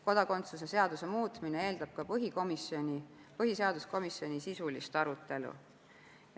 Kodakondsuse seaduse muutmine eeldab ka põhiseaduskomisjoni sisulist arutelu.